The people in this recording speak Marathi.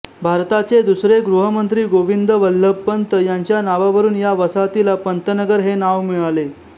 भारताचे दुसरे गृहमंत्री गोविंद वल्लभ पंत यांच्या नावावरून या वसाहतीला पंतनगर हे नाव मिळाले